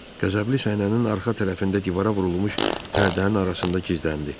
Qəzəbli səhnənin arxa tərəfində divara vurulmuş pərdənin arasında gizləndi.